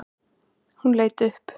Hún leit upp.